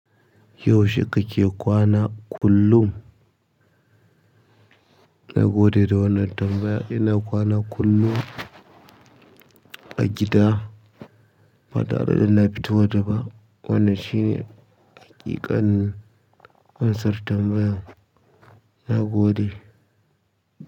Yaushe kake kwana kullum? Na gode da wannan tambayar. Ina kwana kullum a gida, ba tare da na fita wata ba. Wannan shi ne haƙiƙanin ansar tambayan na gode.